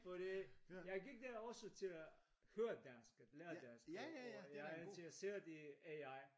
Fordi jeg gik der også til at høre dansk at lære dansk og og jeg er interesseret i AI